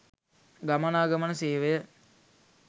ගමනාගමන සේවය